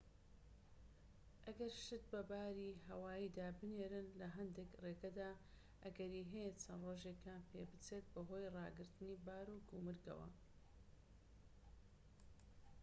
ئەگەر شت بە باری هەواییدا بنێرن لە هەندێك ڕێگەدا ئەگەری هەیە چەند ڕۆژێکیان پێ بچێت بەهۆی داگرتنی بار و گومرگەوە